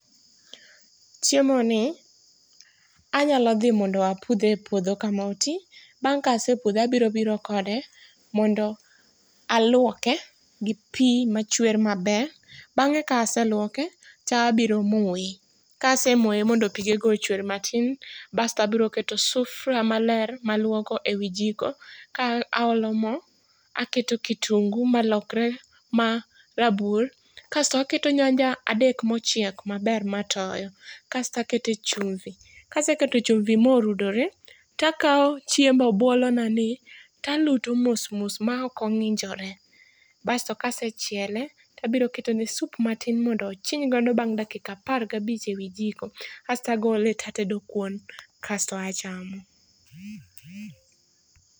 Chiemoni anyalo dhi mondo apudhe e puodho kama otii, bang' kasepudhe abirobiro kode mondo aluoke gi pii machwer maber, bang'e kaaseluoke tabiro moe. Kasemoe mondo pigego ochwer matin, bastabro keto sufria maler maluoko ewii jiko ka aolo moo, aketo kitungu ma lokre marabuor kasto aketo nyanja adek mochiek maber matoyo kastakete chumvi. Kasekete chumvi morudre, takao chiemb obuolona ni taluto mosmos ma okong'injore. Basto kasechiele tabiro ketone sup matin mondo ochiny godo dakika apar gabich ewi jiko, kastagole tatedo kuon kasto achamo.